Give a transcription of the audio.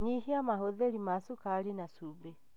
Nyihia mahũthĩri ma cukari na cumbi.